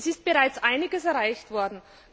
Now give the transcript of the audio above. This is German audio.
Es ist bereits einiges erreicht worden.